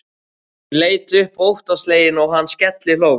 Hún leit upp óttaslegin og hann skellihló.